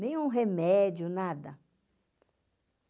Nenhum remédio, nada.